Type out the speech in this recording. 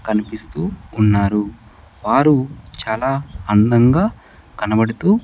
కనిపిస్తూ ఉన్నారు వారు చాలా అందంగా కనబడుతూ.